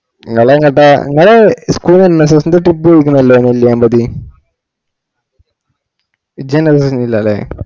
ഇങ്ങളെങ്ങോട്ട ഇങ്ങള് school ന്നു ന്നു trip പൊയ്കല്ലോ നെല്ലിയാംപടി ഇജ്ജ് അയിനൊങ്ങനൊന്ന്മ ഇല്ലാല